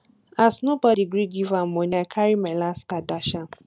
as nobody gree give am money i carry my last card dash am